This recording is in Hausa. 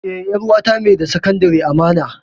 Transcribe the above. E, 'yar uwata mai da Sakandare amana.